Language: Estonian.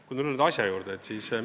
Tulen nüüd asja juurde.